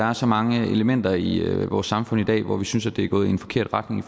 er så mange elementer i i vores samfund i dag hvor vi synes det er gået i en forkert retning